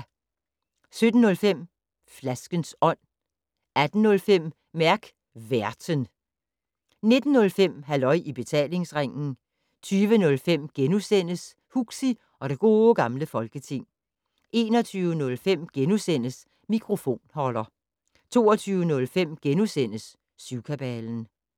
17:05: Flaskens Ånd 18:05: Mærk Værten 19:05: Halløj i Betalingsringen 20:05: Huxi og det Gode Gamle Folketing * 21:05: Mikrofonholder * 22:05: Syvkabalen *